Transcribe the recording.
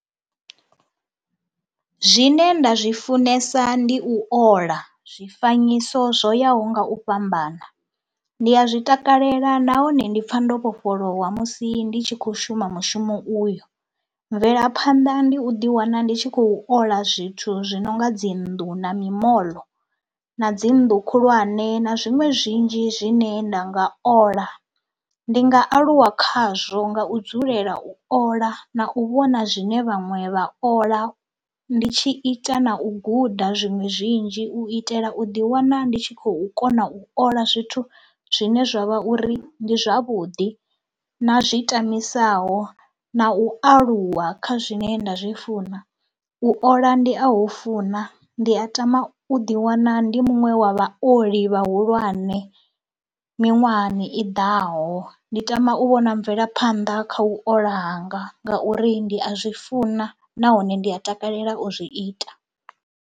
Zwine nda zwi funesa ndi u ola zwifanyiso zwo yaho nga u fhambana, ndi a zwi takalela nahone ndi pfha ndo vhofholowa musi ndi tshi khou shuma mushumo uyo. Mvelaphanḓa ndi u ḓiwana ndi tshi khou ola zwithu zwi no nga dzi nnḓu na mimoḽo na dzi nnḓu khulwane na zwiṅwe zwinzhi zwine nda nga ola. Ndi nga aluwa khazwo nga u dzulela u ola na u vhona zwine vhaṅwe vha ola ndi tshi ita na u guda zwiṅwe zwinzhi u itela u ḓiwana ndi tshi khou kona u ola zwithu zwine zwa vha uri ndi zwavhuḓi na zwi tambisaho na u aluwa kha zwine nda zwi funa. U ola ndi a hu funa, ndi a tama u ḓiwana ndi muṅwe wa vha oḽi vhahulwane miṅwahani i ḓaho, ndi tama u vhona mvelaphanḓa kha u ola hanga ngauri ndi a zwi funa nahone ndi a takalela u zwi ita.